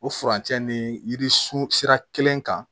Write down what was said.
O furancɛ ni yiri sun sira kelen kan